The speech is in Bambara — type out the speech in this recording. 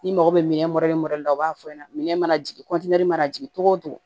N'i mago bɛ minɛn la u b'a fɔ ɲɛna minɛn mana jigin mana jigin cogo o cogo